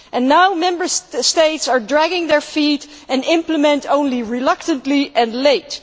Now, Member States are dragging their feet and implementing only reluctantly and late.